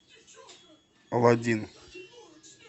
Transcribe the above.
алладин